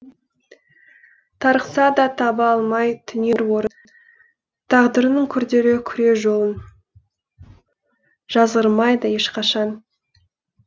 тарықса да таба алмай түнер орын тағдырының күрделі күре жолын жазғырмайды ешқашан